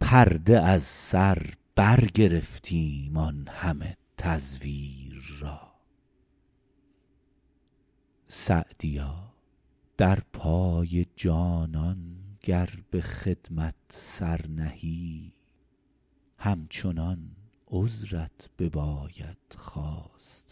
پرده از سر برگرفتیم آن همه تزویر را سعدیا در پای جانان گر به خدمت سر نهی همچنان عذرت بباید خواستن تقصیر را